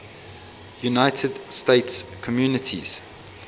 united states communities